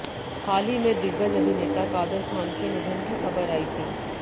हाल ही में दिग्गज अभिनेता कादर ख़ान के निधन की ख़बर आयी थी